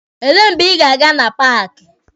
Elee mgbe ị ga-aga na paaki?